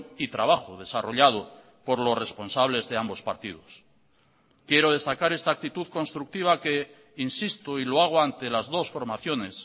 y trabajo desarrollado por los responsables de ambos partidos quiero destacar esta actitud constructiva que insisto y lo hago ante las dos formaciones